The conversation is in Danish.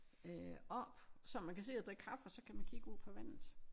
Øh oppe så man kan sidde og drikke kaffe og så kan man kigge ud på vandet